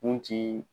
Kun ti